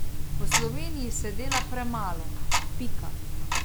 V Sloveniji se dela premalo, pika.